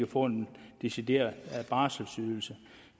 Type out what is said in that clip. få en decideret barselsydelse